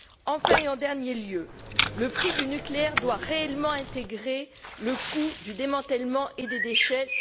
Enfin, et en dernier lieu, le prix du nucléaire doit réellement intégrer le coût du démantèlement et des déchets.